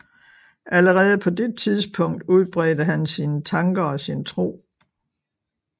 Allerede på det tidspunkt udbredte han sine tanker og sin tro